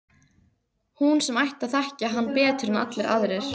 Hún sem ætti að þekkja hann betur en allir aðrir.